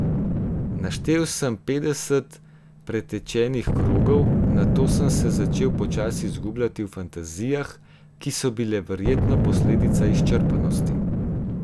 Naštel sem petdeset pretečenih krogov, nato sem se začel počasi izgubljati v fantazijah, ki so bile verjetno posledica izčrpanosti.